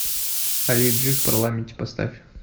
али джи в парламенте поставь